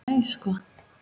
Nei sko!